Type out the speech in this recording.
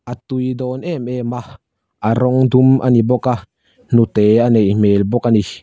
a tui dawn em em a a rawng dum a ni bawk a hnute a neih hmel bawk a ni.